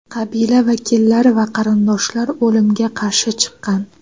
Qabila vakillari va qarindoshlar o‘limga qarshi chiqqan.